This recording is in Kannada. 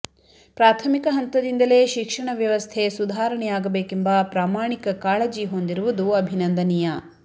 ಪ್ರಾಥಮಿಕ ಹಂತದಿಂದಲೇ ಶಿಕ್ಷಣ ವ್ಯವಸ್ಥೆ ಸುಧಾರಣೆಯಾಗಬೇಕೆಂಬ ಪ್ರಾಮಾಣಿಕ ಕಾಳಜಿ ಹೊಂದಿರುವುದು ಅಭಿನಂದನೀಯ